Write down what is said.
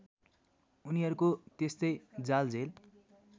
उनीहरूको त्यस्तै जालझेल